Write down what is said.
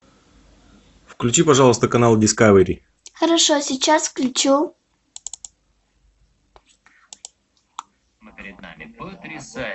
включи пожалуйста канал дискавери хорошо сейчас включу